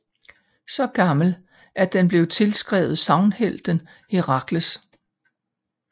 Så gammel at den blev tilskrevet sagnhelten Herakles